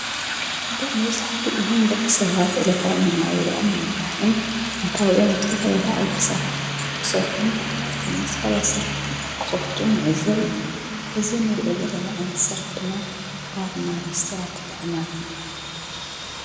ብመዙሕቲ እህም ደቂ ሰባት ዕለታውምናውርኦም ንምምራሕን ኣታውዮም ኣፍተፈለ ደዓው ድ ሠራሕትታት ክሰርኁን ኽምንስፈላይ ሥራሕቲ ኣትክኸፍቱን ንእዘብ ኢና እዝ ኑርዮ ዘለና ዓነት ሠራሕ ድማ ባርና ሬስተራት ደኣማት ይበሃል